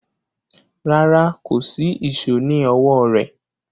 Rárá, kò sí ìṣó ní ọwọ́ rẹ̀